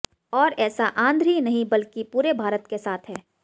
और ऐसा आन्ध्र ही नहीं बल्कि पूरे भारत के साथ है